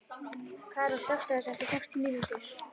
Karún, slökktu á þessu eftir sextíu mínútur.